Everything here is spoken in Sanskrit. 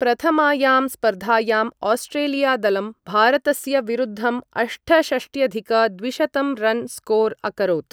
प्रथमायां स्पर्धायाम् आस्ट्रेलिया दलं भारतस्य विरुद्धं अष्टषष्ट्यधिक द्विशतं रन् स्कोर् अकरोत्।